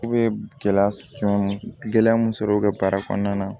U bɛ gɛlɛya cɔ gɛlɛya mun sɔrɔ u ka baara kɔnɔna na